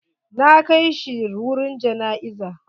Na kai shi wurin jana'izan.